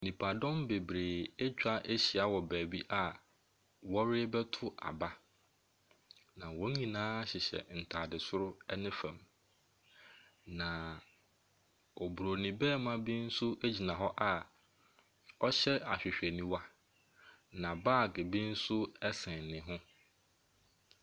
Nnipadɔm bebree atwa ahyia wɔ baabi a wɔrebɛto aba. Na wɔn nyinaa hyehyɛ ntaade soro ne fam. Na Oburoni barima bi nso gyina hɔ a ɔhyɛ ahwehɛniwa. Na baage bi nso ɛsɛn ne ho.